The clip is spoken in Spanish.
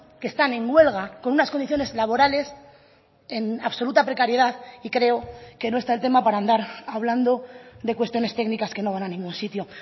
que están en huelga con unas condiciones laborales en absoluta precariedad y creo que no está el tema para andar hablando de cuestiones técnicas que no van a ningún sitio